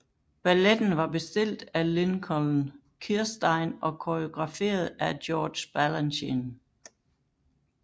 Balletten var bestilt af Lincoln Kirstein og koreograferet af George Balanchine